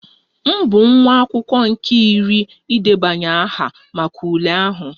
M bụ nwa akwụkwọ nke iri idebanye aha maka ule ahụ